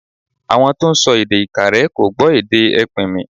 Àwọn tó ń sọ èdè Ìkàrẹ́ kò gbọ́ èdè ẹpìnmì.